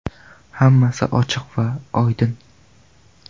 Hammasi ochiq va oydin!